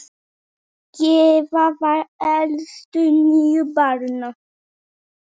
Gyða var elst níu barna.